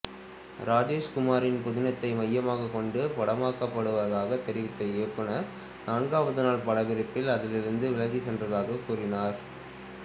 ராஜேஷ்குமாரின் புதினத்தை மையமாக கொண்டு படமாக்கப்படுவதாக தெரிவித்த இயக்குனர் நான்காவது நாள் படப்பிடிப்பில் அதிலிருந்து விலகிச் சென்றதாக கூறினார்